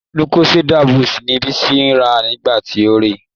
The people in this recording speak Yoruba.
Lucozade boost ni Bisi rà nígbà tí ó rèé.